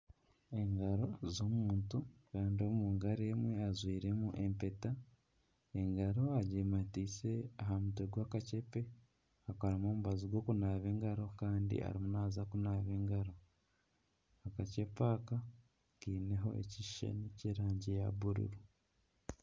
Engaro z'omuntu Kandi omungaro emwe ajwiremu empeta. Engaro agimatiise aha mutwe gw'akacepe akarimu omubazi gw'okunaaba engaro kandi arimu naaza kunaaba engaro. Akacupa aka kariho ekishushani ky'erangi ya bururu.